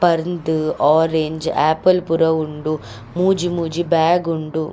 ಪರ್ಂದ್ orange apple ಪೂರ ಉಂಡು ಮೂಜಿ ಮೂಜಿ ಬ್ಯಾಗ್ ಉಂಡು.